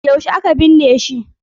Yaushe aka binne shi?